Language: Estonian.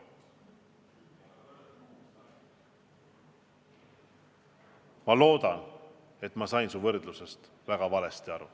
Ma loodan, et ma sain su võrdlusest väga valesti aru.